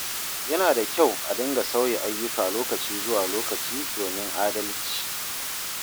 Yana da kyau a dinga sauya ayyuka lokaci zuwa lokaci domin adalci.